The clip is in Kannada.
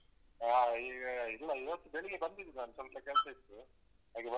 ಹಾ ಈಗ ಇಲ್ಲ ಇವತ್ತು ಬೆಳಿಗ್ಗೆ ಬಂದಿದ್ದೆ ನಾನು ಸ್ವಲ್ಪ ಕೆಲ್ಸ ಇತ್ತು ಹಾಗೆ.